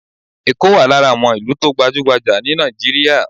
Ekó wà lára àwọn ìlú tó gbajúgbajà ní Nàìjíríà.